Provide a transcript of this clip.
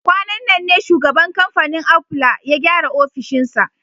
Kwanan nan ne shugaban kamfanin Aful ya gyara ofishinsa